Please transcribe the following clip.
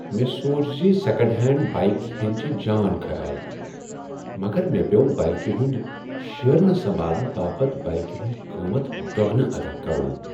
مےٚ سوٗنٛچ زِ سیٚکنٛڈ ہینٛڈ بائیک ہیٚنۍ چِھ جان خیال مگر مےٚ پیو بایكہِ ہُند شیرنہٕ سمبھالنہٕ باپت بایكہِ ہُند قۭمتھ دۄگنہٕ ادا كرُن۔